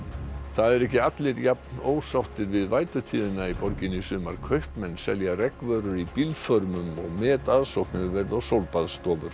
það eru ekki allir jafnósáttir við í borginni í sumar kaupmenn selja í bílförmum og metaðsókn hefur verið á sólbaðsstofur